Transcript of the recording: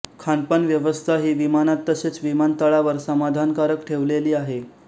खानपान व्यवस्थाही विमानात तसेच विमान तळावर समाधानकारक ठेवलेली आहे